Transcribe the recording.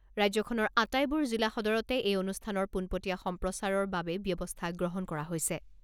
ৰাজ্যখনৰ আটাইবোৰ জিলা সদৰতে এই অনুষ্ঠানৰ পোনপটীয়া সম্প্ৰচাৰৰ বাবে ব্যৱস্থা গ্ৰহণ কৰা হৈছে।